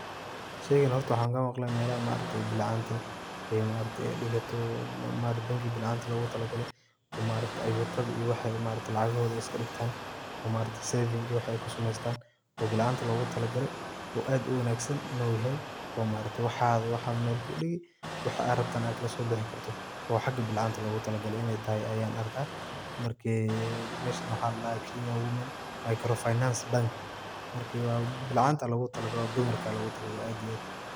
Sheeygan hoorta waxan Kama maqhalay meelaha bilcantaa degatoh oo maaragtay banki bilcantaa lacgato ee maaragtay ayuutayha, waxasi lacagahothe iskadegtan, taan oo maaragtay saving kushaqeeynah oo kusameysatn oo beelcanta lagu talaagalay, oo aadd u wanagsanyahay oo maaragtay waxatho meel kudeegi waxa AA rabato kalaso bixibkartaoh oo xaga beelcanta lagu talaagalay inay tahay Aya arkah, markat meshan waxladah, Kenya women macrofile finance bank marka beelcanta Aya lagu talaagalay dumarka Aya lagu talaagalay aad iyo aad.